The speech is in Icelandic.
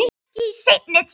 Ekki í seinni tíð.